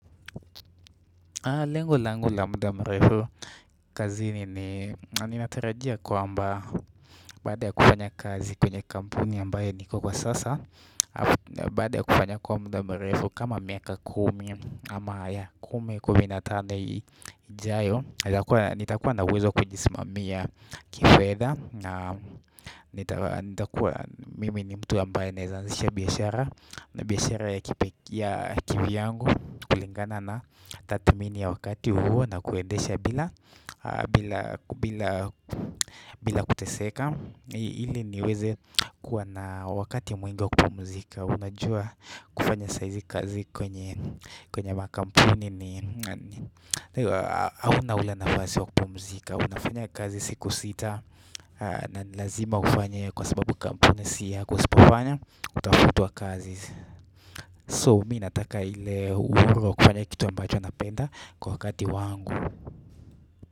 Lengonlangu la muda mrefu kazi ni ninatarajia kwamba baada ya kufanya kazi kwenye kampuni ambaye niko kwa sasa baada ya kufanya kwa muda mrefu kama miaka kumi ama ya kumi kumi na tano ijayo nitakuwa na uwezo kujisimamia kifedha na nitakuwa mimi ni mtu ambaye naeza anzisha biashara na biashara ya kivyangu kulingana na tathmini ya wakati huo na kuendesha bila kuteseka ili niweze kuwa na wakati mwingi wa kupumzika, unajua kufanya saa hizi kazi kwenye makampuni ni hauna ule nafasi wa kupumzika unafanya kazi siku sita na ni lazima ufanye kwa sababu kampuni si yako usipofanya utafutwa kazi. So mi nataka ile uhuru wa kufanya kitu ambacho napenda kwa wakati wangu.